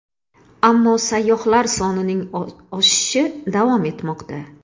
Ammo sayyohlar sonining oshishi davom etmoqda.